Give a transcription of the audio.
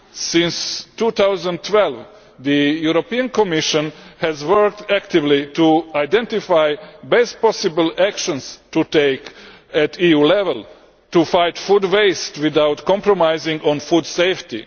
Since 2012, the European Commission has worked actively to identify the best possible action to take at EU level to fight food waste without compromising on food safety.